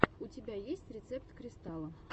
у тебя есть рецепт кристала